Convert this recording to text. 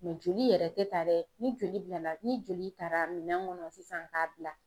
jMɛ oli yɛrɛ te ta dɛ ni joli bilala ni joli tara minɛn kɔnɔ sisan k'a bila